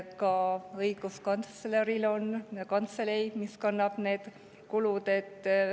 Ka õiguskantsleril on kantselei, mis kannab need kulud.